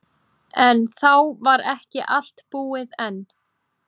En þá var ekki allt búið enn.